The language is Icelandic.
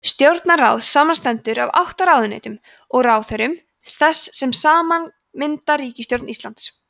stjórnarráðið samanstendur af átta ráðuneytum og ráðherrum þess sem saman mynda ríkisstjórn íslands